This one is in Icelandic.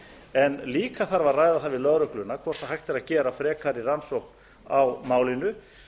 en líka þarf að ræða það við lögregluna hvort hægt er að gera frekari rannsókn á málinu